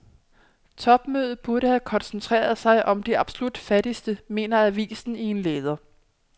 Topmødet burde have koncentreret sig om de absolut fattigste, mener avisen i en leder.